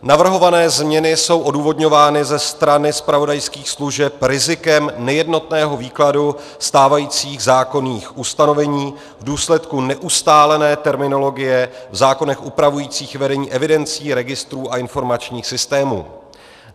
Navrhované změny jsou odůvodňovány ze strany zpravodajských služeb rizikem nejednotného výkladu stávajících zákonných ustanovení v důsledku neustálené terminologie v zákonech upravujících vedení evidencí, registrů a informačních systémů.